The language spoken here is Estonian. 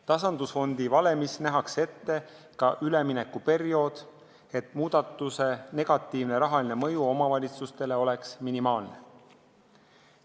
Tasandusfondi valemis nähakse ette ka üleminekuperiood, et muudatuse negatiivne rahaline mõju omavalitsustele oleks minimaalne.